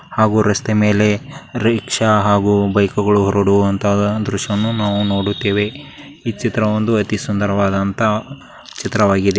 ಹಾಗು ರಸ್ತೆ ಮೇಲೆ ರಿಕ್ಷಾ ಹಾಗು ಬೈಕ್ಗಳು ಹೋರಾಡುವಂತಹ ದೃಶ್ಯಾವನ್ನು ನಾವು ನೋಡುತ್ತೇವೆ ಈ ಚೀತಾ ಒಂದು ಅತಿ ಸುಂದರವಾದಂತಹ ಚಿತವಾಗಿದೆ.